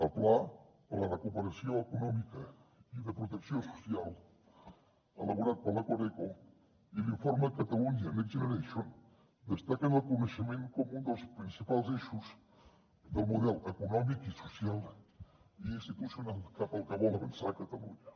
el pla per a la recuperació econòmica i de protecció social elaborat per la coreco i l’informe catalunya next generation destaquen el coneixement com un dels principals eixos del model econòmic i social i institucional cap al que vol avançar catalunya